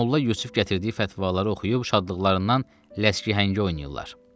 Molla Yusif gətirdiyi fətvaları oxuyub şadlıqlarından ləskəhəngi oynayırlar.